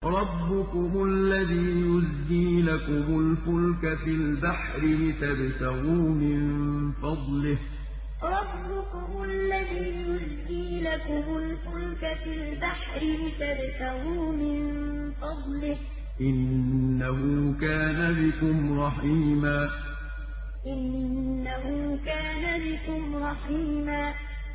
رَّبُّكُمُ الَّذِي يُزْجِي لَكُمُ الْفُلْكَ فِي الْبَحْرِ لِتَبْتَغُوا مِن فَضْلِهِ ۚ إِنَّهُ كَانَ بِكُمْ رَحِيمًا رَّبُّكُمُ الَّذِي يُزْجِي لَكُمُ الْفُلْكَ فِي الْبَحْرِ لِتَبْتَغُوا مِن فَضْلِهِ ۚ إِنَّهُ كَانَ بِكُمْ رَحِيمًا